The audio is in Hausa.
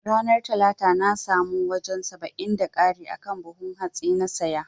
Ranar talata na samu wajan saba'in da kari akan buhun hatsin na saya